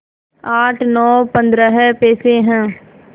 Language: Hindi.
आठ नौ पंद्रह पैसे हैं